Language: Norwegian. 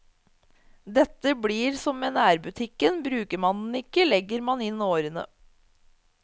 Dette blir som med nærbutikken, bruker man den ikke, legger man inn årene.